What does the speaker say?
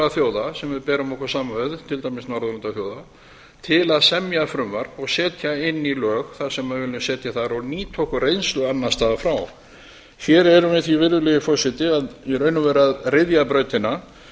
þjóða sem við berum okkur saman við til dæmis norðurlandaþjóða til að semja frumvarp og setja inn í lög það sem við viljum setja þar og nýta okkur reynslu annars staðar frá hér erum við því í raun og veru að ryðja brautina